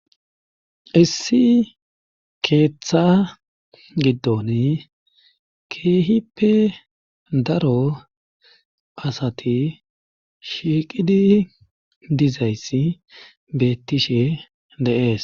issi keeththa giddon keehippe daro asati shiiqidi dizayssi beettishe de7ees